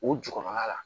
O jukɔrɔla la